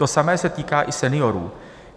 To samé se týká i seniorů.